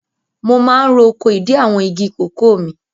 Mo máa ń ro oko ìdí àwọn igi kòkó mi.